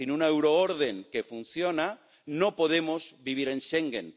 Sin una euroorden que funcione, no podemos vivir en Schengen.